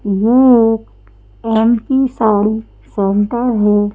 ये एक M P sari centre है।